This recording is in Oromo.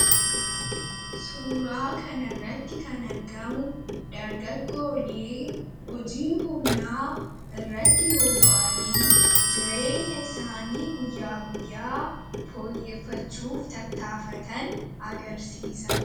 suuraa kana irratti kan argamu dargaggoolee hojii humnaa irratti bobba'anii jireenya isaanii guyyaa guyyaa fooyyeeffachuuf tattaafatan agarsiisa